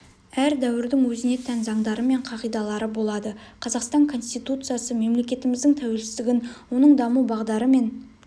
әр дәуірдің өзіне тән заңдары мен қағидалары болады қазақстан конституциясы мемлекетіміздің тәуелсіздігін оның даму бағдары мен